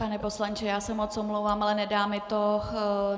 Pane poslanče, já se moc omlouvám, ale nedá mi to.